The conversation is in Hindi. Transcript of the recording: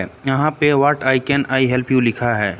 ऐ यहां पे what I can I help you लिखा है।